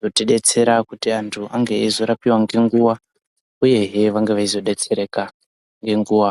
Kuti betsera kuti antu ange eizorapiva ngenguva, uyehe venge veizobetserereka ngenguva.